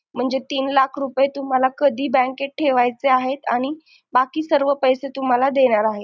म्हणजे तीन लाख रुपये तुम्हाला कधी bank ठेवायचे आहेत आणि बाकी सर्व पैसे तुम्हाला देणार आहेत